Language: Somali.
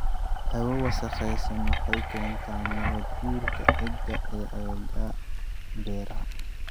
Hawo wasakhaysan waxay keentaa nabaad-guurka ciidda ee aagagga beeraha.